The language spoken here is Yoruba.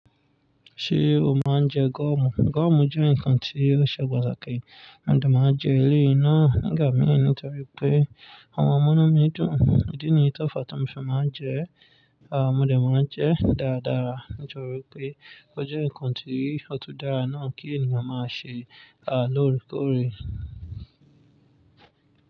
Ṣé o máa ń jẹ gọ́mù? Gọ́mù jẹ́ ǹkan tí ó ṣe pataki, mo dẹ máa ń jẹ eléyìí náà nígbà mìíràn torí pé o wọn munu mídùn ìdí nìyí tó fàá tó mo fi máa ń jẹ́, à mo dẹ máa ń jẹ dáadáa. Ǹjẹ́ o rò pé ó jẹ́ ǹkan tó rí ọ̀tún dára náà kí ènìyàn máa ṣe, à lóòrèkóòrè?